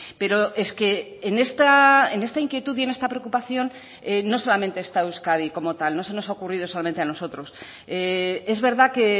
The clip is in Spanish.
pero es que en esta inquietud y en esta preocupación no solamente está euskadi como tal no se nos ha ocurrido solamente a nosotros es verdad que